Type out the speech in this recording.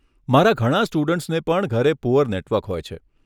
ઘણા મારા સ્ટુડન્ટ્સને પણ ઘરે પૂઅર નેટવર્ક હોય છે.